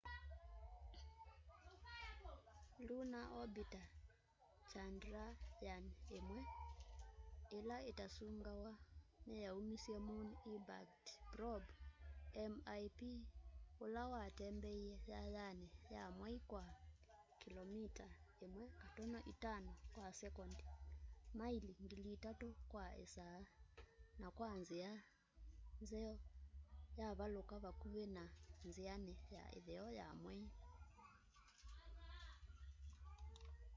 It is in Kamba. lunar orbiter chandrayaan-1 ila itasungawa niyaumisye moon impact probe mip ula watembeie yayayani ya mwei kwa kilomita 1.5 kwa sekondi maili 3000 kwa isaa na kwa nzia nzeo yavaluka vakuvi na nziani ya itheo ya mwei